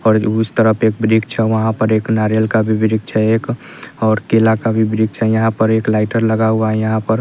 और उस तरफ एक वृक्ष है वहाँ पर एक नारियल का भी वृक्ष है एक और केला का भी वृक्ष है यहाँ पर एक लाइटर लगा हुआ है यहाँ पर --